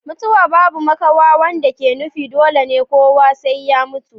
mutuwa babu makawa wanda ke nufin dole ne kowa sai ya mutu mutu